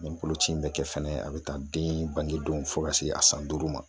Ni boloci in be kɛ fɛnɛ a be ta den bange don fo ka se a san duuru ma.